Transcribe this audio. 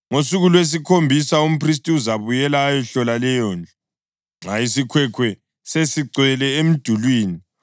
Ngosuku lwesikhombisa, umphristi uzabuyela ayehlola leyondlu. Nxa isikhwekhwe sesigcwele emidulini,